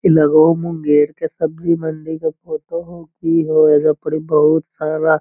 इ लगे होअ मुंगेर के सब्जी मंडी के फोटो होअ की हो एजा पर बहुत सारा --